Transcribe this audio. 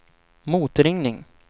motringning